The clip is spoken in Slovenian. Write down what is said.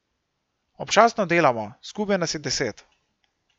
Občasno delamo, skupaj nas je deset.